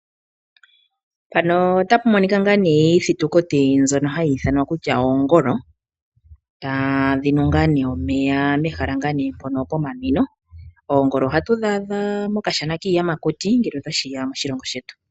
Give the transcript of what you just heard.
Mpano otapu monika ngaa ne iithitukiti ndjono hayi ithanwa kutya oongolo, tadhi nu ngaa omeya mehala ngaa ne mpono pomanwino. Oongolo ohatu dhi adha mo kashana kiiyamakuti ngele tashiya moshilongo shetu.